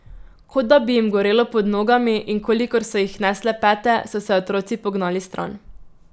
Kot da bi jim gorelo pod nogami in kolikor so jih nesle pete, so se otroci pognali stran.